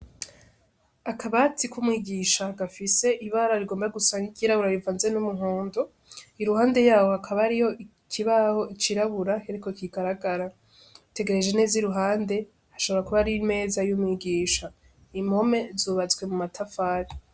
Akabati kumwigisha gafise ibara rigoba gusa nkiryirabura rivanze n'umuhondo iruhande yaho hakaba hariho ikibaho c'irabura ariko kigaragara witegereje neza iruhande ashobora kuba ari imeza y'umwigisha impome zubatswe mumatafari.